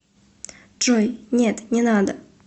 джой нет не надо